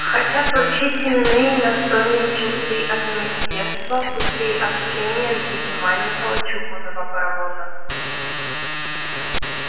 хотят вручить именные настольные часы от министерства путей общения в виде маленького чугунного паровоза